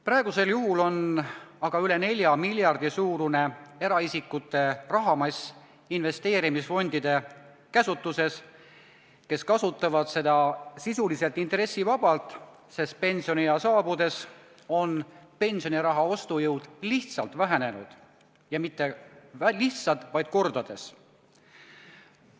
Praegusel juhul on aga üle 4 miljardi suurune eraisikute rahamass investeerimisfondide käsutuses, kes kasutavad seda sisuliselt intressivabalt, sest pensioniea saabudes on pensioniraha ostujõud lihtsalt vähenenud ja mitte lihtsalt vähenenud, vaid kordades vähenenud.